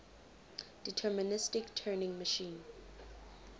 deterministic turing machine